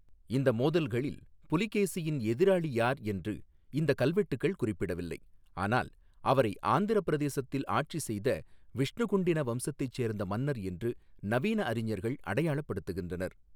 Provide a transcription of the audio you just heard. இந்த மோதல்களில் புலிகேசியின் எதிராளி யார் என்று இந்தக் கல்வெட்டுகள் குறிப்பிடவில்லை, ஆனால் அவரை ஆந்திரப் பிரதேசத்தில் ஆட்சி செய்த விஷ்ணுகுண்டின வம்சத்தைச் சேர்ந்த மன்னர் என்று நவீன அறிஞர்கள் அடையாளப் படுத்துகின்றனர்.